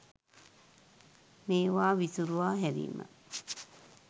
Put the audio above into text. මේවා විසුරුවා හැරීම.